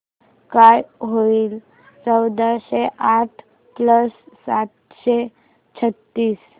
काय होईल चौदाशे आठ प्लस सातशे छ्त्तीस